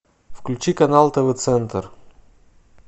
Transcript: включи канал тв центр